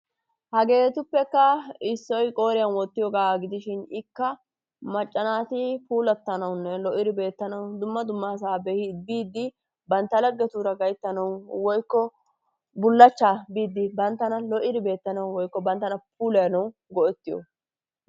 Hageetuppekka issoy qooriyan woottiyogaa gidishin ikka macca naati puulatanawunne lo"idi beetanawu dumma dummasaa biidi bantta laggetuura gayttanawu woykko bullaachchaa biidi banttana lo'idi beetanawu woykko banttana puulayanawu go'ettiyoba.